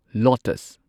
lotus